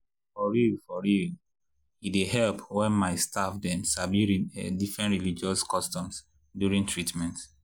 for real for real e dey help when my staff dem sabi different religious customs during treatment.